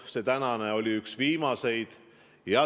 See tänane oli üks viimaseid.